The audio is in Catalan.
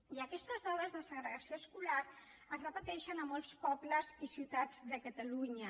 i aquestes dades de segregació escolar es repeteixen a molts pobles i ciutats de catalunya